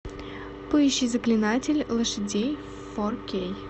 поищи заклинатель лошадей фор кей